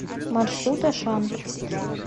маршрут ашан